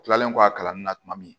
kilalen kɔ a kalanni na tuma min